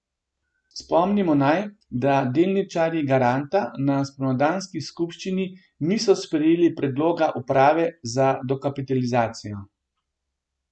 Spomnimo naj, da delničarji Garanta na spomladanski skupščini niso sprejeli predloga uprave za dokapitalizacijo.